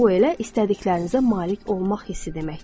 Bu elə istədiklərinizə malik olmaq hissi deməkdir.